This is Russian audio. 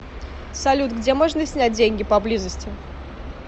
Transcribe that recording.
салют где можно снять деньги поблизости